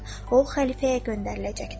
O xəlifəyə göndəriləcəkdir.